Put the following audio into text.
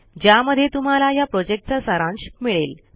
ज्यामध्ये तुम्हाला ह्या प्रॉजेक्टचा सारांश मिळेल